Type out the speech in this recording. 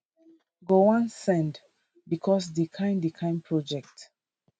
go wan send becos di kain di kain projects